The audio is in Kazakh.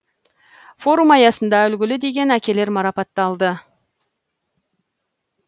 форум аясында үлгілі деген әкелер марапатталды